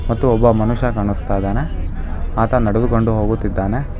ಮತ್ತು ಒಬ್ಬ ಮನುಷ್ಯ ಕಾಣುಸ್ತಾಯಿದಾನೆ ಆತ ನಡೆದುಕೊಂಡು ಹೋಗುತ್ತಿದ್ದಾನೆ.